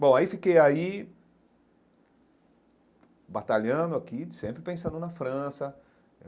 Bom, aí fiquei aí... batalhando aqui, sempre pensando na França.